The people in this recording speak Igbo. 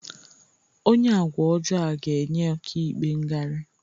Onye agwa ọjọọ a ga-enye ọka ikpe ngarị